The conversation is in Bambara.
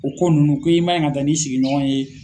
O ko ninnu ko i man ɲi ka taa n'i sigiɲɔgɔn ye